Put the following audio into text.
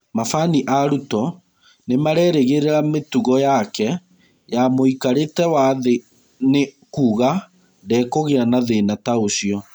Mabani a Ruto nĩmarerĩgĩrĩra mĩtugo yake ya mũikarĩte wa thĩ nĩ kuga ndekũgĩa na thĩna ta ũcio.